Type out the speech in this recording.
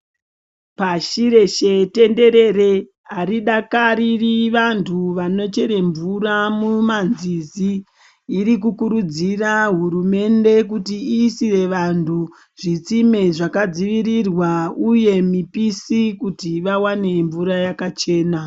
Pashi reeshe tenderere, aridakariri vantu vanochere mvura mumanzizi. Riri kukurudzirawo hurumende kuti iisire vantu zvitsime zvakadziirirwa uye mipisi ,kuti vawane mvura yakachena .